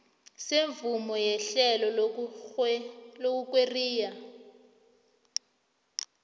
semvumo yehlelo lokurweyila